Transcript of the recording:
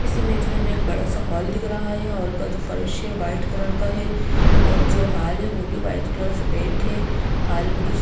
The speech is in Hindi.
इस इमेज में हमे एक बड़ा सा हॉल दिख रहा है हॉल का जो फर्श है व्हाइट कलर का है और जो हॉल है वो भी वाइट कलर से पेंट है हॉल में कुछ --